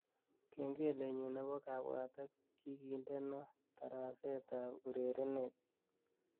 Kengelenyu nebo kabwatet kigindeno tarasetab urerenet